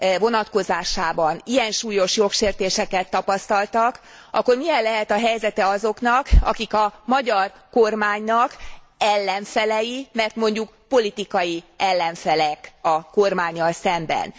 vonatkozásában ilyen súlyos jogsértéseket tapasztaltak, akkor milyen lehet a helyzete azoknak, akik a magyar kormánynak ellenfelei, mert mondjuk politikai ellenfelek a kormánnyal szemben.